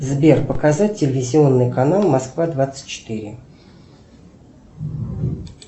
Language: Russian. сбер показать телевизионный канал москва двадцать четыре